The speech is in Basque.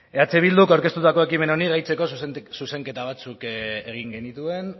eh bilduk aurkeztutako ekimen honi gehitzeko zuzenketa batzuk egin genituen